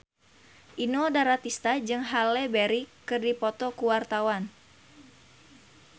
Inul Daratista jeung Halle Berry keur dipoto ku wartawan